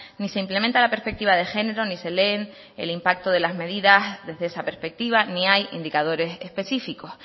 ni se implementa la perspectiva de género ni se leen el impacto de las medidas desde esa perspectiva ni hay indicadores específicos